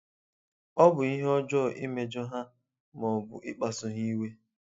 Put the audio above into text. Ọ bụ ihe ọjọọ imejọ ha ma ọ bụ ịkpasu ha iwe.